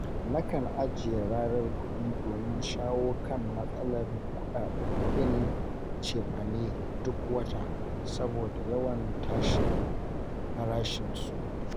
Nakan ajiye rarar kuɗi domin shawo kan matsalar kuɗin cefane duk wata saboda yawan tashin farashinsu.